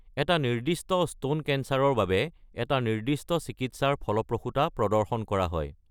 এটা নিৰ্দিষ্ট স্তন কেন্সাৰৰ বাবে এটা নিৰ্দিষ্ট চিকিৎসাৰ ফলপ্ৰসূতা প্ৰদৰ্শন কৰা হয়।